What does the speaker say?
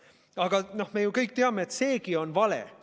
Aga me ju kõik teame, et seegi on vale.